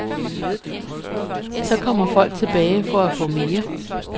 Så kommer folk tilbage for at få mere.